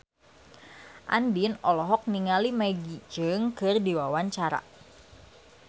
Andien olohok ningali Maggie Cheung keur diwawancara